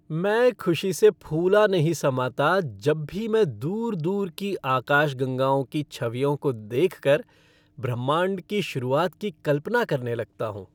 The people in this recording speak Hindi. मैं खुशी से फूला नहीं समाता जब भी मैं दूर दूर की आकाशगंगाओं की छवियों को देखकर ब्रह्मांड की शुरुआत की कल्पना करने लगता हूँ।